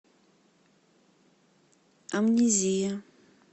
амнезия